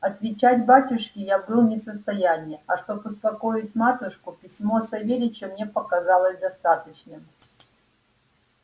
отвечать батюшке я был не в состоянии а чтоб успокоить матушку письмо савельича мне показалось достаточным